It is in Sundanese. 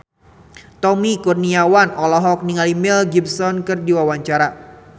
Tommy Kurniawan olohok ningali Mel Gibson keur diwawancara